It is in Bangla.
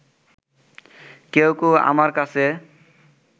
কেউ কেউ আমার কাছে